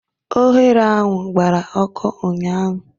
Oghere ahụ gbara ọkụ ụnyaahụ